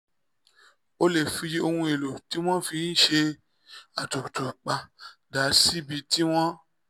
o lè fi ohun èlò tí wọ́n fi ń ṣe àtutu pa dà síbi tí wọ́n